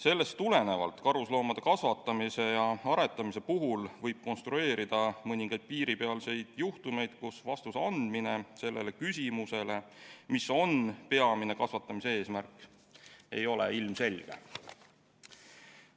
Sellest tulenevalt võib karusloomade kasvatamise ja aretamise puhul konstrueerida mõningaid piiripealseid juhtumeid, mille korral vastus küsimusele, mis on peamine kasvatamise eesmärk, ei ole ilmselge.